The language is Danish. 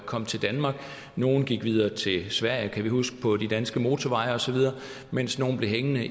kom til danmark nogle gik videre til sverige kan vi huske på de danske motorveje osv mens nogle blev hængende